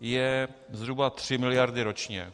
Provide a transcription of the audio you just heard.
je zhruba tři miliardy ročně.